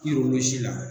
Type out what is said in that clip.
si la